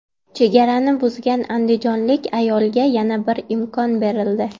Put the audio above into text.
Chegarani buzgan andijonlik ayolga yana bir imkon berildi.